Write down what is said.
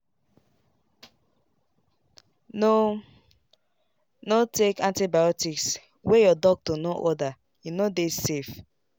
haltno haltno take antibiotics wey your doctor no ordere no dey safe.